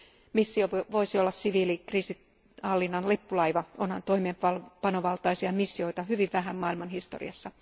Missio voisi olla siviilikriisihallinnan lippulaiva, onhan toimeenpanovaltaisia missioita hyvin vähän maailman historiassa.